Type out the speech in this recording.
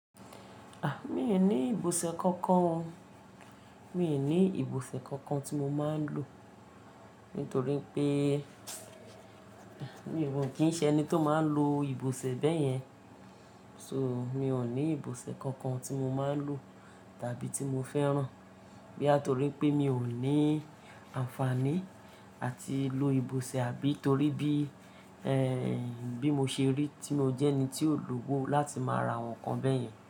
A! Mi ò ní ìbòsẹ̀ kankan o. Mi ò ní ìbòsẹ̀ kankan tí mo máa ń lò. Nítorí pé, mi ò kí ń ṣe ẹni tó máa ń lo ìbòsẹ̀ bẹ́yẹn. So, mi ò ní ìbòsẹ̀ kankan tí mo máa ń lò tàbí tí mo fẹ́ràn. Bí á torí pé mi ò ní àǹfààní àti lo ìbòsẹ̀, àbí torí bí, bí mo ṣe rí tí mo jẹ́ ẹni tí ò lówó láti máa ra àwọn nǹkan bẹ́yẹn.